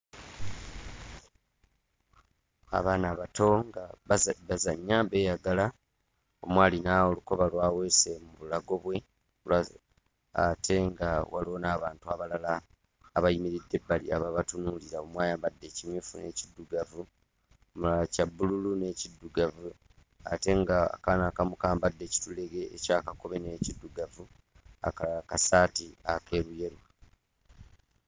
Abaana abato nga baza bazannya beeyagala ,omu alina olukoba lw'aweese mu bulago bwe, lwaze ate nga waliwo n'abantu abalala ate nga waliwo n'abantu abalala abayimiridde ebbali ababatunuulira omu ayambadde ekimyufu n'ekiddugavu omulala kya bbululu n'ekiddugavu ate ng'akaana akamu kambadde ekitulege ekya kakobe n'ekiddugavu akalala kasaati akeeruyeru.